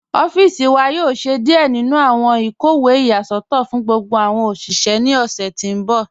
Ọffíṣì wà yóò ṣẹ̀ díẹ̀ nínu awọn ikọwe iyasọtọ fún gbogbo awọn oṣiṣẹ̀ ní ọṣẹ̀ tí n bọ̀.